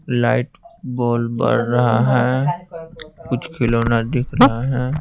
Light ball बढ़ रहा है कुछ खिलौना दिख रहा है।